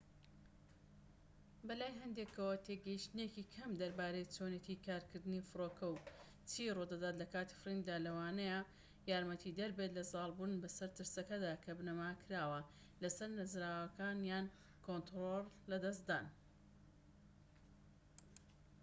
بەلای هەندێكەوە تێگەشتنێکی کەم دەربارەی چۆنیەتی کارکردنی فڕۆکە و چی ڕوودەدات لە کاتی فڕیندا لەوانەیە یارمەتیدەربێت لە زاڵبوون بەسەر ترسەکەدا کە بنەما کراوە لەسەر نەزانراوەکان یان کۆنترۆڵ لەدەستدان